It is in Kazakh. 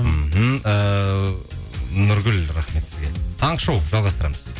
мхм ыыы нұргүл рахмет сізге таңғы шоу жалғастырамыз